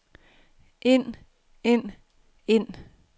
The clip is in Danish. ind ind ind